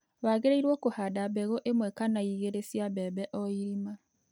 Wagĩrĩirwo kũhanda mbegũ ĩmwe kana igĩrĩ cia mbembe o irima